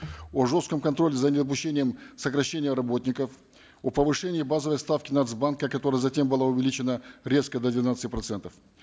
о жестком контроле за недопущением сокращения работников о повышении базовой ставки нац банка которая затем была увеличена резко до двенадцати процентов